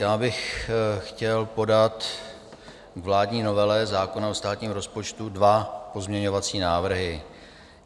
Já bych chtěl podat k vládní novele zákona o státním rozpočtu dva pozměňovací návrhy.